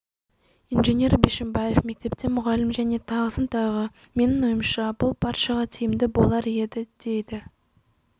инженер бишімбаев мектепте мұғалім және тағысын тағы менің ойымша бұл баршаға тиімді болар еді дейді